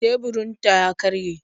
Teburinta ya karye